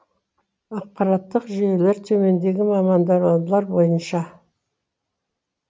ақпараттық жүйелер төмендегі мамандандырулар бойынша